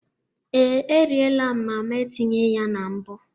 Ee, eriela m mama etinye ya na mbụ.